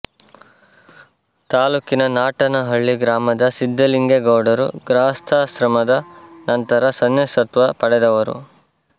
ತಾಲ್ಲೂಕಿನ ನಾಟನಹಳ್ಳಿ ಗ್ರಾಮದ ಸಿದ್ದಲಿಂಗೇಗೌಡರು ಗೃಹಸ್ಥಾಶ್ರಮದ ನಂತರ ಸನ್ಯಾಸತ್ವ ಪಡೆದವರು